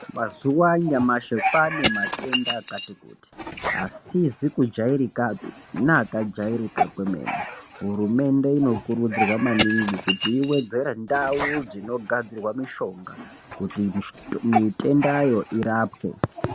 Mazuwa anyamashi kwane matenda akatikuti asizi kujairakapi neakajairika kwemene hurumende inokurudzirwa maningi kuti iwedzere ndau dzinogadzirwa mishonga kuti mitendayo irapwe.